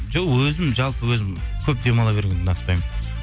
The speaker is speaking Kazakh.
жоқ өзім жалпы өзім көп демала бергенді ұнатпаймын